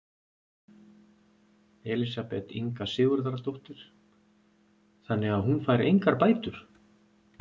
Elísabet Inga Sigurðardóttir: Þannig að hún fær engar bætur?